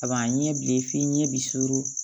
A b'a ɲɛ bilen f'i ɲɛ bi suru